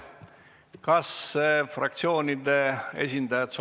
Kas fraktsioonide esindajad ...